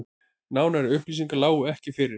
Nánari upplýsingar lágu ekki fyrir